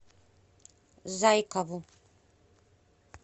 зайкову